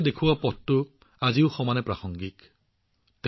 কবিৰদাসজীয়ে দেখুওৱা পথটো আজিও সমানে প্ৰাসংগিক